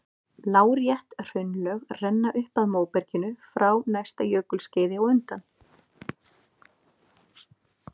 Lárétt hraunlög renna upp að móberginu frá næsta jökulskeiði á undan.